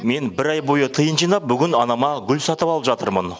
мен бір ай бойы тиын жинап бүгін анама гүл сатып алып жатырмын